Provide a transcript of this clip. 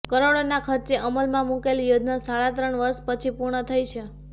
કરોડોના ખર્ચે અમલમાં મૂકેલી યોજના સાડા ત્રણ વર્ષ પછી પૂર્ણ થઈ છે